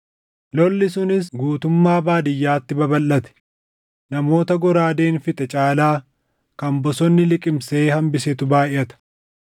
Lolli sunis guutummaa baadiyyaatti babalʼate; namoota goraadeen fixe caalaa kan bosonni liqimsee hambisetu baayʼata.